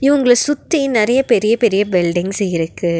இவங்கள சுத்தி நறைய பெரிய பெரிய பில்டிங்ஸ் இருக்கு.